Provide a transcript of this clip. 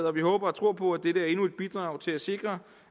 og vi håber og tror på at dette er endnu et bidrag til at sikre